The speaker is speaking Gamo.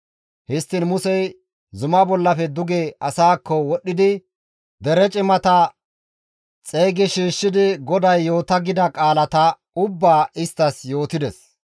Histtiin Musey zumaa bollafe duge asaakko wodhidi dere cimata xeygi shiishshidi GODAY yoota gida qaalata ubbaa isttas yootides.